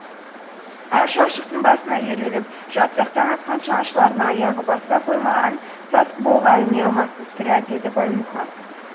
әр шалшықтың басына ерулеп жатсақ таң атқанша аңшылардың аяғы баса қоймаған сасықбұғыға іліне алмаспыз сірә деді баймұхан